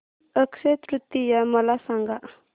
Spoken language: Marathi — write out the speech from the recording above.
अक्षय तृतीया मला सांगा